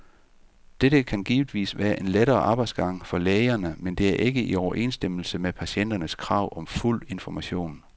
Dette har givetvis været en lettere arbejdsgang for lægerne, men det er ikke i overensstemmelse med patienternes krav om fuld information.